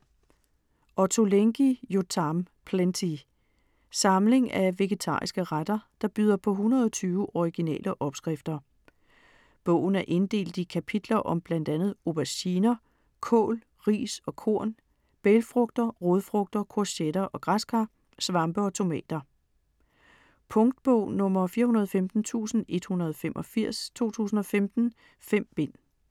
Ottolenghi, Yotam: Plenty Samling af vegetariske retter der byder på 120 originale opskrifter. Bogen er inddelt i kapitler om bl.a. auberginer, kål, ris og korn, bælgfrugter, rodfrugter, courgetter og græskar, svampe og tomater. Punktbog 415185 2015. 5 bind.